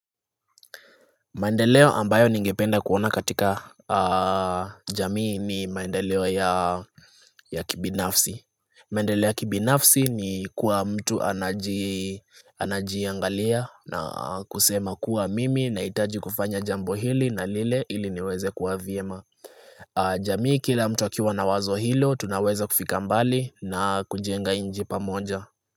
Maendeleo ambayo ningependa kuona katika jamii ni maendeleo ya kibinafsi maendeleo ya kibinafsi ni kuwa mtu anajiangalia na kusema kuwa mimi naitaji kufanya jambo hili na lile ili niweze kuwa vyema jamii kila mtu akiwa na wazo hilo tunaweza kufika mbali na kujenga inji pamoja.